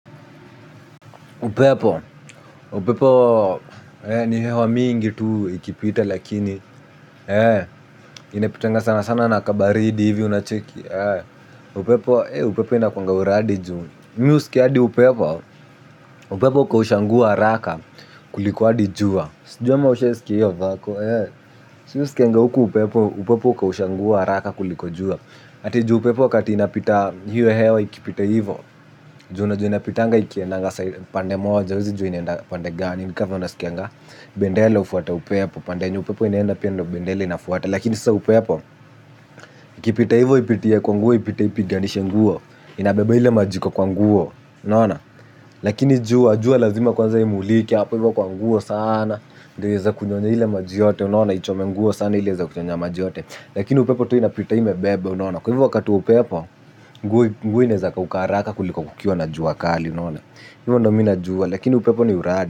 Upepo, upepo ni hewa mingi tu ikipita lakini, inapitanga sana sana nakabaridi hivi unacheki, upepo ina kwanga uradi juu, mi usiki hadi upepo, upepo ukaushanguo haraka kuliko hadijua. Sijua maushe siki hiyo vako. Sijua siki hiyo siki hiyo siki hiyo siki hiyo siki hiyo. Atiju upepo wakati inapita hiyo hewa ikipita hivo. Juna jua inapita anga ikienangasai pande moja. Wezi jua inenda pande gani. Ni kava onasikanga. Bendela ufuata upepo. Pande enye upepo inenda pia ndo bendela inafuata. Lakini sasa upepo. Ikipita hivo ipitie kwa nguo ipitie kwa nguo ipitie kwa nguo ipitie kwa nguo. Inabeba hile maji iko kwa nguo. Unaona jua jua lazima imulike apo ivo ka nguo sana. Ndio weza kunyonya hile majiyote. Nona. Wanaichome nguo sana hile za kuchonya maji yote. Lakini upepo tu inapitaime bebe unawana. Kwa hivyo wakati wa upepo, nguo nezaka ukaraka kuliko kukiuwa na juwakali unawana. Hivyo ndo mi najua. Lakini upepo ni uradi.